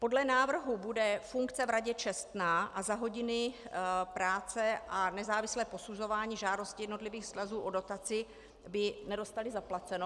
Podle návrhu bude funkce v radě čestná a za hodiny práce a nezávislé posuzování žádostí jednotlivých svazů o dotaci by nedostali zaplaceno.